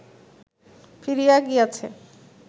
ফিরিয়া গিয়াছে